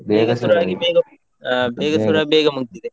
ಬೇಗ ಶುರು ಆಗಿ ಬೇಗ ಮುಗ್ದಿದೆ.